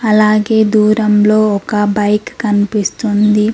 అలాగే దూరంలో ఒక బైక్ కనిపిస్తుంది.